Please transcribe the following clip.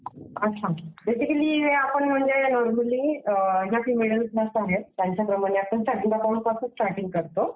Basically हे म्हणजे पासून स्टार्टींग करतो.